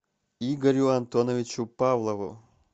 игорю антоновичу павлову